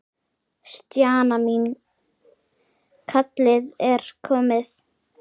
Stjana mín, kallið er komið.